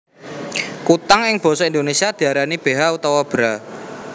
Kutang ing basa Indonesia diarani beha utawa bra